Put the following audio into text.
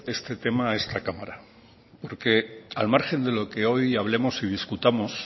este tema a esta cámara porque al margen de lo que hoy hablemos y discutamos